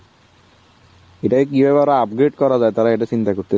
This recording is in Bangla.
এটাই কি ব্যাপার update করা যায় তারা এটা চিন্তা করতেছে।